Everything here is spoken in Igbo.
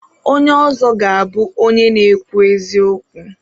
Onye ọzọ ga-abụ onye na-ekwu eziokwu.